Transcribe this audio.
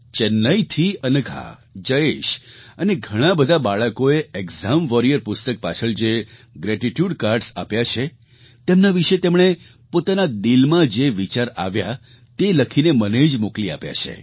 ચેન્નાઈથી અનઘા જયેશ અને ઘણાં બધાં બાળકોએ એક્સામ વોરિયર પુસ્તક પાછળ જે ગ્રેટિટ્યુડ કાર્ડ્સ આપ્યાં છે તેમના વિશે તેમણે પોતાના દિલમાં જે વિચાર આવ્યા તે લખીને મને જ મોકલી આપ્યા છે